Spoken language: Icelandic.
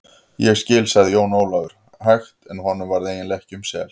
Ég skil, sagði Jón Ólafur hægt en honum varð eiginlega ekki um sel.